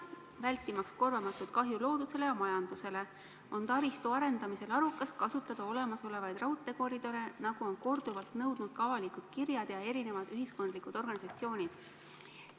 Vältimaks korvamatut kahju loodusele ja majandusele, on taristu arendamisel arukas kasutada olemasolevaid raudteekoridore, nagu on korduvalt nõudnud ka avalikud kirjad ja erinevad ühiskondlikud organisatsioonid.